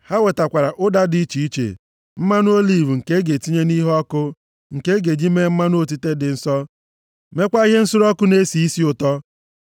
Ha wetakwara ụda dị iche iche, mmanụ oliv nke a ga-etinye nʼiheọkụ, nke a ga-eji mee mmanụ otite dị nsọ, mekwa ihe nsure ọkụ na-esi isi ụtọ.